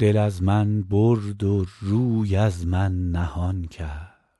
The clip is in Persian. دل از من برد و روی از من نهان کرد